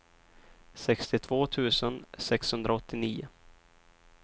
sextiotvå tusen sexhundraåttionio